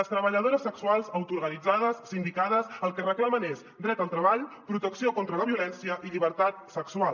les treballadores sexuals autoorganitzades sindicades el que reclamen és dret al treball protecció contra la violència i llibertat sexual